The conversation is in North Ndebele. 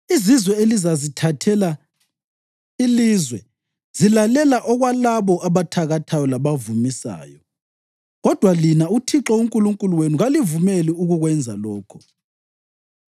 “Izizwe elizazithathela ilizwe zilalela okwalabo abathakathayo labavumisayo. Kodwa lina, uThixo uNkulunkulu wenu kalivumeli ukukwenza lokho.